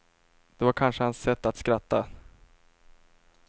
Det var kanske hans sätt att skratta.